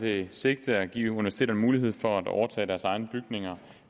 det sigte at give universiteterne mulighed for at overtage deres egne bygninger